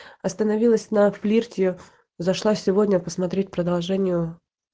остановилась на флирте зашла сегодня посмотреть продолжению